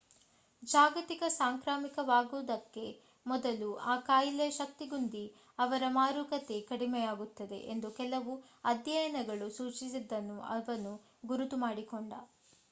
ಜಾಗತಿಕ ಸಾಂಕ್ರಾಮಿಕವಾಗುವುದಕ್ಕೆ ಮೊದಲು ಆ ಕಾಯಿಲೆಯ ಶಕ್ತಿಗುಂದಿ ಅದರ ಮಾರಕತೆ ಕಡಿಮೆಯಾಗುತ್ತದೆ ಎಂದು ಕೆಲವು ಅಧ್ಯಯನಗಳು ಸೂಚಿಸಿದ್ದನ್ನು ಅವನು ಗುರುತು ಮಾಡಿಕೊಂಡ